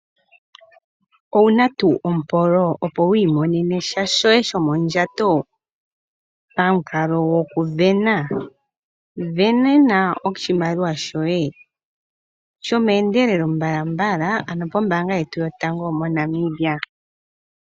Owuna tuu ompolo opo wiimonene sha sho ye shomondjato pamu kalo go ku vena, vena oshimaliwa shoye sho meendelelo mbalambala ano po mbaanga yetu yo tango mo Namibia.